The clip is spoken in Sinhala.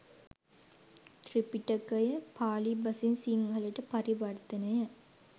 ත්‍රිපිටකය පාලි බසින් සිංහලට පරිවර්තනය